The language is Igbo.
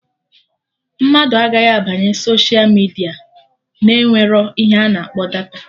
Mmadụ agaghị abanye soshia midia na-enwerọ ihe a na-akpọ data